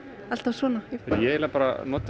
alltaf svona ég eiginlega bara nota